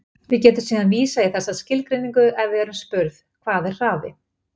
Við getum síðan vísað í þessa skilgreiningu ef við erum spurð: Hvað er hraði?